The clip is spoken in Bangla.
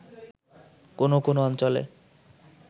কোনো কোনো অঞ্চলে